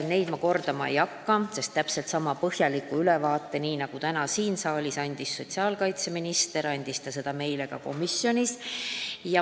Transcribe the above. Neid ma kordama ei hakka, sest täpselt sama põhjaliku ülevaate nagu täna siin saalis, andis sotsiaalkaitseminister ka meile komisjonis.